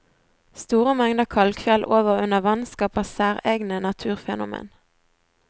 Store mengder kalkfjell over og under vann skaper særegne naturfenomen.